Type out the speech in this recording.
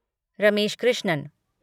Ramesh Krishnan